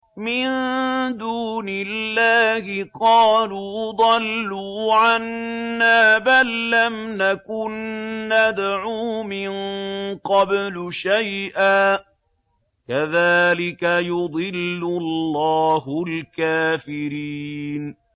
مِن دُونِ اللَّهِ ۖ قَالُوا ضَلُّوا عَنَّا بَل لَّمْ نَكُن نَّدْعُو مِن قَبْلُ شَيْئًا ۚ كَذَٰلِكَ يُضِلُّ اللَّهُ الْكَافِرِينَ